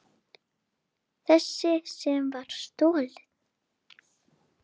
Þessi sem var stolið!